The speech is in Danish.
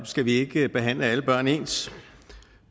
skal vi ikke behandle alle børn ens